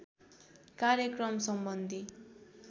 कार्यक्रम सम्बन्धी